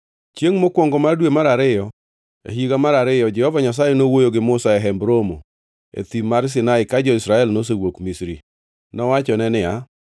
Chiengʼ mokwongo mar dwe mar ariyo e higa mar ariyo Jehova Nyasaye nowuoyo gi Musa e Hemb Romo e Thim mar Sinai ka jo-Israel nosewuok Misri. Nowachone niya,